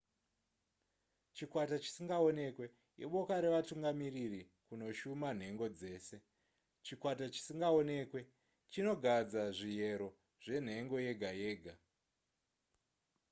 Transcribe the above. chikwata chisingaonekwe iboka revatungamiriri kunoshuma nhengo dzese chikwata chisingaonekwe chinogadza zviyero zvenhengo yega yega